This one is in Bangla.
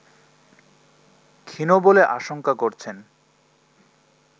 ক্ষীণ বলে আশংকা করছেন